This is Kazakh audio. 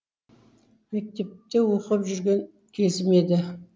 мектепте оқып жүрген кезім еді